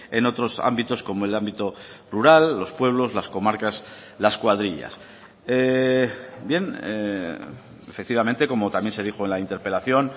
en otros ámbitos como el ámbito rural los pueblos las comarcas las cuadrillas bien efectivamente como también se dijo en la interpelación